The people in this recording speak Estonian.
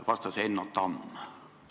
Vastas Enno Tamm.